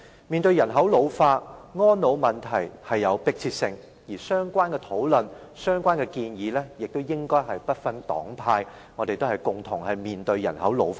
面對人口老化，安老問題迫切，相關討論和建議亦應該不分黨派，因為我們是共同面對人口老化的。